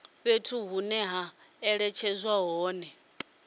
fhethu hune ha netshedzwa hone